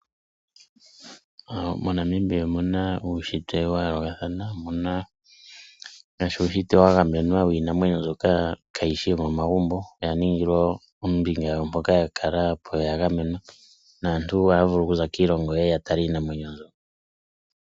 MoNamibia omuna uushitwe wayoolokathana. Omuna ngaashi uushitwe wa gamenwa wiinamwenyo mbyoka kaayi shi yomomagumbo oya ningilwa ombinga yawo mpoka ya kala po ya gamenwa naantu ohaya vulu okuza kondje yiilongo ye ye yatale iinamwenyo mbyo.